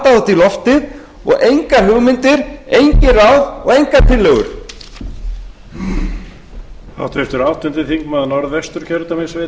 í loftið og engar hugmyndir engin ráð og engar tillögur